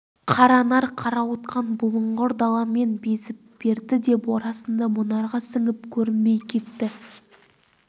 қаранар қарауытқан бұлыңғыр даламен безіп берді де борасынды мұнарға сіңіп көрінбей кетті